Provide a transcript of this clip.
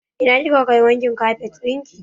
Ina kika kai wankin kafet ɗin ki?